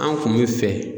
An kun bɛ fɛ